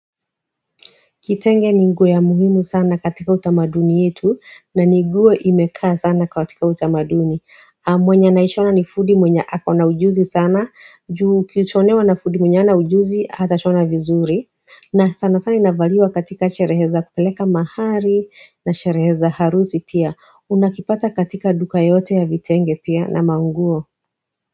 Kitenge ni nguo ya muhimu sana katika utamaduni yetu na ni nguo imekaa sana katika utamaduni mwenye anaishona ni fundi mwenye ako na ujuzi sana juu ukishonewa na fundi mwenye hana ujuzi hata shona vizuri na sana sana inavaliwa katika sherehe za kupeleka mahari na sherehe za harusi pia Unakipata katika duka yoyote ya vitenge pia na manguo.